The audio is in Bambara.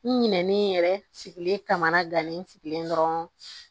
N ɲinɛnen yɛrɛ sigilen kamana gannen sigilen dɔrɔn